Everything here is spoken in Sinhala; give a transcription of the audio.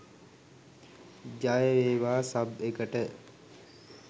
ජය වේවා සබ්‍ ‍එ‍ක‍ට